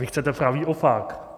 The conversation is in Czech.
Vy chcete pravý opak.